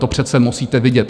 To přece musíte vidět.